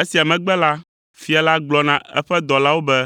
Esia megbe la fia la gblɔ na eƒe dɔlawo be,